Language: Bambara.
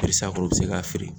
u be se k'a feere.